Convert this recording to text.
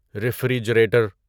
refrigerator